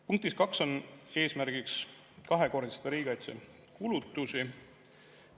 Punktis 2 on eesmärgiks kahekordistada riigikaitsekulutusi.